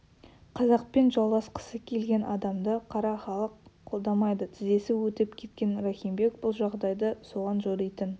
қазақпен жауласқысы келген адамды қара халық қолдамайды тізесі өтіп кеткен рахим бек бұл жағдайды соған жоритын